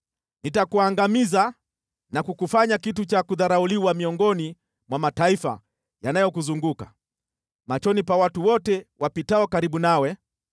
“Nitakuangamiza na kukufanya kitu cha kudharauliwa miongoni mwa mataifa yanayokuzunguka, machoni pa watu wote wapitao karibu nawe.